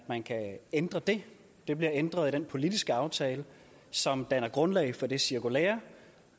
man kan ændre det det bliver ændret i den politiske aftale som danner grundlag for det cirkulære